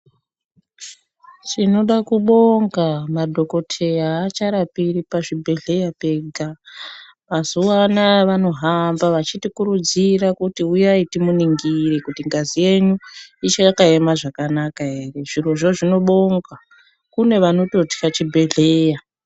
Tinoda kubonga madhokodheya acharapiri pazvibhedhlera pega mazuva anawa vanohamba vachiti kuridzira kuti huyai timuningire kuti ngazi yenyu ichakaema zvakanaka here zvirozvo zvinobongwa kune vanotya chibhedhlera.